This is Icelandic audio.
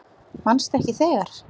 Manstu ekki þegar